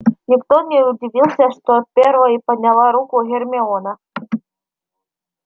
никто не удивился что первой подняла руку гермиона